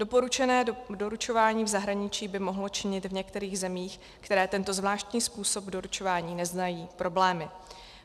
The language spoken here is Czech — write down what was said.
Doporučené doručování v zahraničí by mohlo činit v některých zemích, které tento zvláštní způsob doručování neznají, problémy.